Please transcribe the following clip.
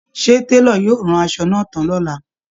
Ṣé Télò yóò rán aṣọ náà tán lọ́la